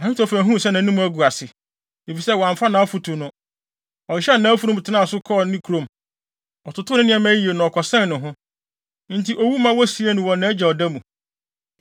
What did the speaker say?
Ahitofel huu sɛ nʼanim agu ase, efisɛ wɔamfa nʼafotu no, ɔhyehyɛɛ nʼafurum tenaa ne so, kɔɔ ne kurom. Ɔtotoo ne nneɛma yiye, na ɔkɔsɛn ne ho. Enti owu ma wosiee no wɔ nʼagya ɔda mu.